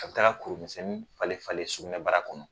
A taara kurumisɛnnin falen falen sugunɛ bara kɔnɔ.